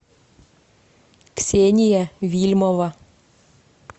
ксения вильмова